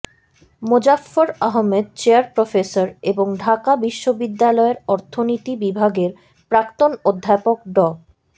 Mozaffar Ahmad chair professor এবং ঢাকা বিশ্ববিদ্যালয়ের অর্থনীতি বিভাগের প্রাক্তন অধ্যাপক ড